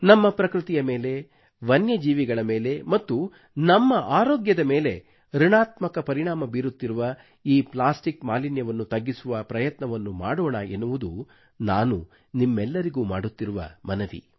ನಮ್ಮ ಪ್ರಕೃತಿಯ ಮೇಲೆ ವನ್ಯಜೀವಿಗಳ ಮೇಲೆ ಮತ್ತು ನಮ್ಮ ಆರೋಗ್ಯದ ಮೇಲೆ ಋಣಾತ್ಮಕ ಪರಿಣಾಮ ಬೀರುತ್ತಿರುವ ಈ ಪ್ಲಾಸ್ಟಿಕ್ ಮಾಲಿನ್ಯವನ್ನು ತಗ್ಗಿಸುವ ಪ್ರಯತ್ನವನ್ನು ಮಾಡೋಣ ಎನ್ನುವುದು ನಾನು ನಿಮ್ಮೆಲ್ಲರಿಗೂ ಮಾಡುತ್ತಿರುವ ಮನವಿ